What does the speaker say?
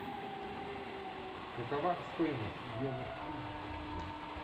какова стоимость йога студии в отеле